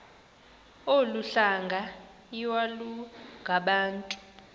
olu hlanga iwalungabantu